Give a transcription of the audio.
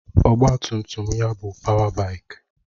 Ọgbatumtum ya bụ páwá báikì